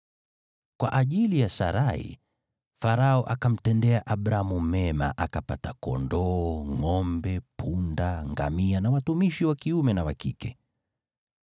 Kwa ajili ya Sarai, Farao akamtendea Abramu mema, naye Abramu akapata kondoo, ngʼombe, punda, ngamia na watumishi wa kiume na wa kike.